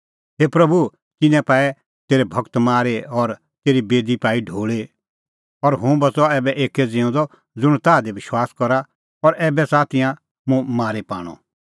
हे प्रभू तिन्नैं पाऐ तेरै गूर मारी और तेरी बेदी पाई ढोल़ी और हुंह बच़अ ऐबै एक्कै ज़िऊंदअ ज़ुंण ताह दी विश्वास करा और ऐबै च़ाहा तिंयां मुंह मारी पाणअ